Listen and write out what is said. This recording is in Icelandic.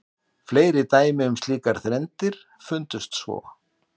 Fleiri dæmi um slíkar þrenndir fundust svo.